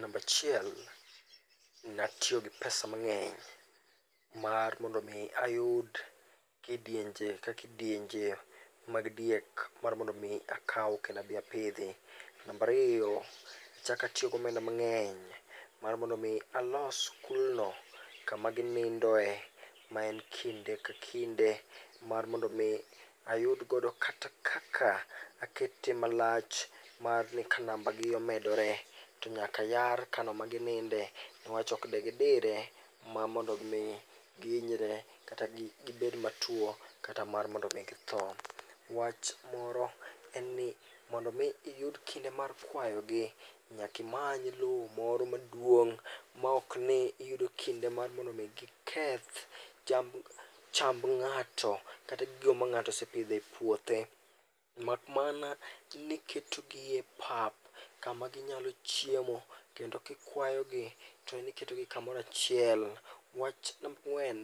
Namba achiel, ne atiyo gi pesa mang'eny mar mondo mi ayud kidienje ka kidienje mag diek mar mondo mi akaw kendo adhi apidhi. Namba ariyo, achako atiyo gi omenda mang'eny mar mondo mi alos kulno kama ginindoe ma en kinde ka kinde mar mondo mi ayud godo kata kaka akete malach mar ni ka nambagi omedore to nyaka yar kanyo ma gininde newach ok ni gidire mar mondo mi gihinyre kata gibed matuo kata mar mondo mi githo. Wach moro en ni mondo mi iyud kinde mar kwayogi nyaka imany lum moro maduong' maok ni giyudo kinde mar mondo mi kik giketh chamb, chamb ng'ato kata gigo ma ng'ato osepidho e puothe mak mana ni iketogi e pap kama ginyalo chiemo kendo kikwayogi to iketogi kamoro achiel. Wach namba ang'wen,